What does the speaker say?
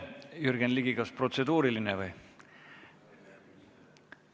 Jürgen Ligi, kas protseduuriline või?